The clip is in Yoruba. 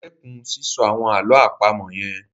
Stop saying those riddles